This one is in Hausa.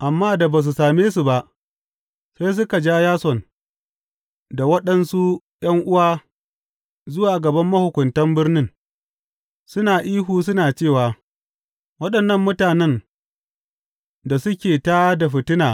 Amma da ba su same su ba, sai suka ja Yason da waɗansu ’yan’uwa zuwa gaban mahukuntan birnin, suna ihu suna cewa, Waɗannan mutanen da suke tā da fitina